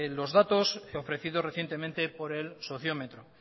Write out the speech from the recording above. los datos ofrecidos recientemente por el sociómetro